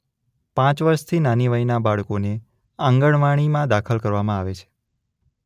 પાંચ વર્ષથી નાની વયનાં બાળકોને આંગણવાડીમાં દાખલ કરવામાં આવે છે.